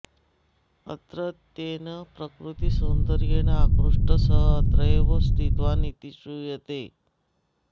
अत्रत्येन प्रकृतिसौन्दर्येण आकृष्टः सः अत्रैव स्थितवान् इति श्रूयते